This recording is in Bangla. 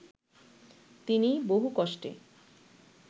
তিনি বহু কষ্টে